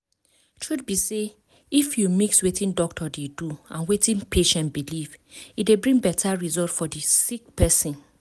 truth be say if you mix wetin doctor dey do and wetin patient believe e dey bring beta result for di sick person.